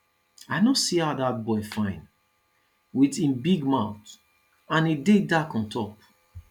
i no see how dat boy fine with him big mouth and he dey dark on top